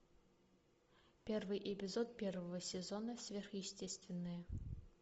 первый эпизод первого сезона сверхъестественное